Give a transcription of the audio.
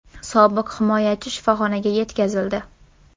Sobiq himoyachi shifoxonaga yetkazildi.